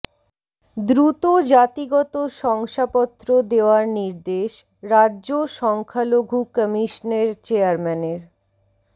দ্রুত জাতিগত শংসাপত্র দেওয়ার নির্দেশ রাজ্য সংখ্যালঘু কমিশনের চেয়ারম্যানের